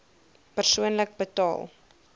persoonlik betaal